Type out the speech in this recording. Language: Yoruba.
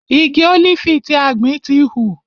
Igi ólífì tí a gbìn ti hù.